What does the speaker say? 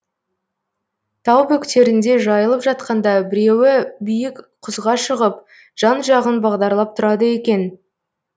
тау бөктерінде жайылып жатқанда біреуі биік құзға шығып жан жағын бағдарлап тұрады екен